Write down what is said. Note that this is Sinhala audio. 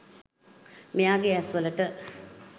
මෙයාගේ ඇස්වලට